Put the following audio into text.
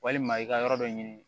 Walima i ka yɔrɔ dɔ ɲini